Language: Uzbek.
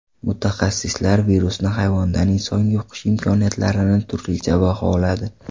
Mutaxassislar virusni hayvondan insonga yuqish imkoniyatlarini turlicha baholadi.